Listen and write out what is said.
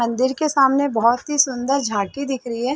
मंदिर के सामने बोहोत सी सुंदर झांकी दिख रही है।